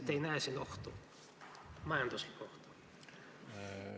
Kas te ei näe siin majanduslikku ohtu?